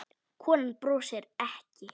Konan brosir ekki.